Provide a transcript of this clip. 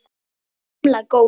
Gamla góða